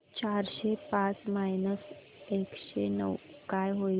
चारशे पाच मायनस एकशे नऊ काय होईल